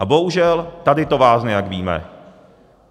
A bohužel tady to vázne, jak víme.